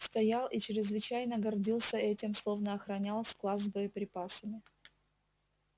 стоял и чрезвычайно гордился этим словно охранял склад с боеприпасами